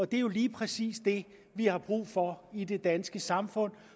det er jo lige præcis det vi har brug for i det danske samfund